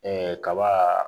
kaba